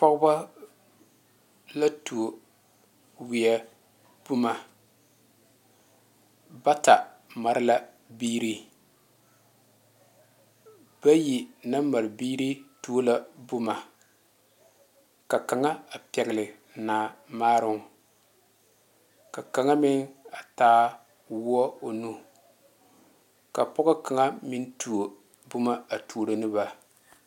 Pɔgeba la tuo wiɛ boma bata mare la biiri bayi naŋ mare biiri tuo la boma ka kaŋa a pegle naa maaro ka kaŋa meŋ a taa woɔ o nu ka pɔge kaŋa meŋ tuo boma a turo ne ba.